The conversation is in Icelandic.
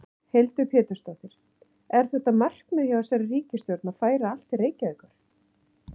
Hildur Pétursdóttir: Er þetta markmið hjá þessari ríkisstjórn að færa allt til Reykjavíkur?